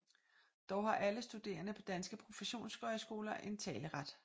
Dog har alle studerende på danske professionshøjskoler en taleret